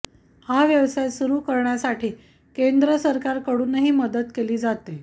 हा व्यवसाय सुरू करण्यासाठी केंद्र सरकारकडूनही मदत केली जाते